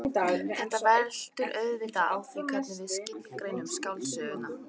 Þetta veltur auðvitað á því hvernig við skilgreinum skáldsöguna.